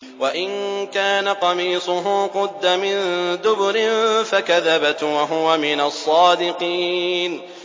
وَإِن كَانَ قَمِيصُهُ قُدَّ مِن دُبُرٍ فَكَذَبَتْ وَهُوَ مِنَ الصَّادِقِينَ